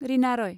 Rina Roy